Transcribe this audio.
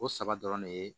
O saba dɔrɔn ne ye